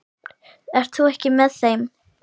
Ert þú ekki með þeim?